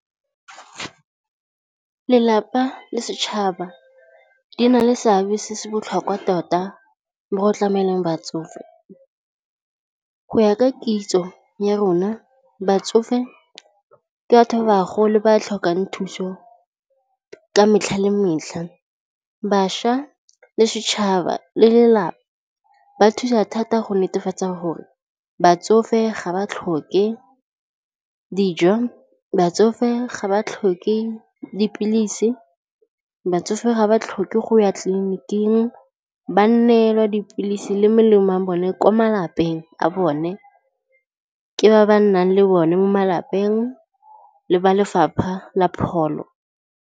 Lelapa le setšhaba di na le seabe se se botlhokwa tota mo go tlameleng batsofe. Go ya ka kitso ya rona batsofe ke batho ba bagolo ba tlhokang thuso ka metlha le metlha, bašwa le setšhaba le lelapa ba thusa thata go netefatsa gore batsofe ga ba tlhoke dijo, batsofe ga ba tlhoke dipilisi, batsofe ga ba tlhoke go ya tleliniking ba neelwa dipilisi le melemo a bone ko malapeng a bone ke ba ba nnang le bone mo malapeng le ba Lefapha la Pholo.